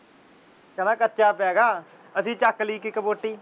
ਕਹਿੰਦਾ ਕੱਚਾ ਪਿਆ ਹੈਗਾ । ਅਸੀ ਚੱਕ ਲਈ ਇੱਕ ਇੱਕ ਬੋਟੀ।